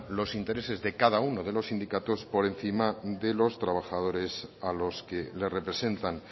los intereses de cada uno de los sindicatos por encima de los trabajadores a los que le representan